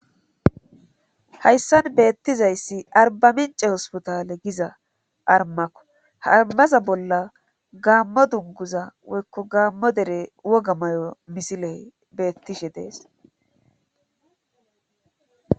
Hayssan beettizayssi arbamince hospitaale giza armako harmaza bolla gaammo dunguza woykko gaammo dere woga may'o misiley beettishe dees.